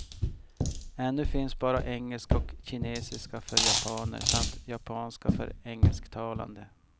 Ännu finns bara engelska och kinesiska för japaner samt japanska för engelsktalande.